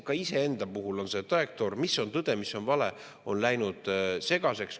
Ka iseenda puhul on see trajektoor, mis on tõde, mis on vale, läinud segaseks.